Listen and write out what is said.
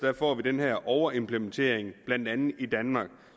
får vi den her overimplementering blandt andet i danmark